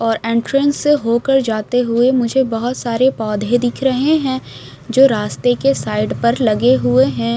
और एंट्रेंस से होकर जाते हुए मुझे बहुत सारे पौधे दिख रहे हैं जो रास्ते के साइड पर लगे हुए हैं।